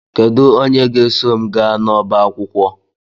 Kedu onye ga-eso m gaa n'ọba akwụkwọ?